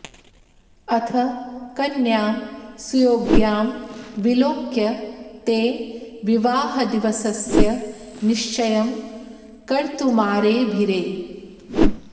अथ कन्यां सुयोग्यां विलोक्य ते विवाहदिवसस्य निश्चयं कर्तुमारेभिरे